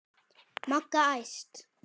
Magga æst.